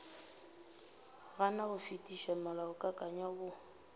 gana go fetiša molaokakanywa wo